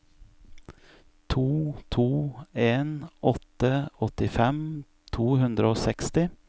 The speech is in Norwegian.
to to en åtte åttifem to hundre og seksti